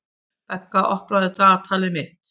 Begga, opnaðu dagatalið mitt.